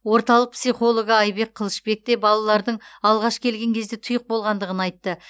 орталық психологы айбек қылышбек те балалардың алғаш келген кезде тұйық болғандығын айтты